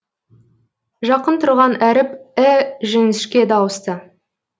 жақын тұрған әріп і жіңішке дауысты